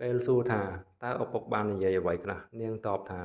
ពេលសួរថា តើឪពុកបាននិយាយអ្វីខ្លះ នាងតបថា